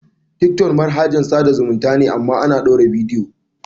Tiktok manahajan tsada zumunta ne amma ana ɗaura bidiyo.